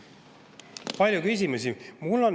Palju küsimusi!